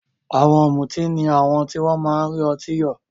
Àwọn ọ̀mùtí ni àwọn tí wọ́n máa ń rí ọtí yọ̀.